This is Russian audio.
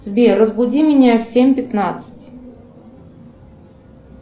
сбер разбуди меня в семь пятнадцать